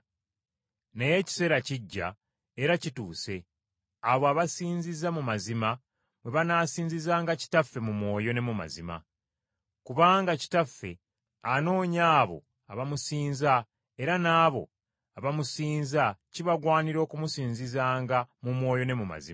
Naye ekiseera kijja, era kituuse, abo abasinziza mu mazima bwe banaasinzizanga Kitaffe mu mwoyo ne mu mazima. Kubanga Kitaffe anoonya abo abamusinza era n’abo abamusinza kibagwanira okumusinzanga mu mwoyo ne mu mazima.